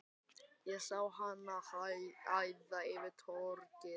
Ég sá hana æða yfir torgið.